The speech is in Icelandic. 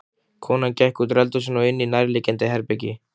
Konan gekk útúr eldhúsinu og inní nærliggjandi herbergi.